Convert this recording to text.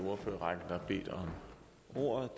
beder